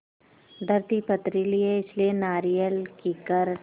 धरती पथरीली है इसलिए नारियल कीकर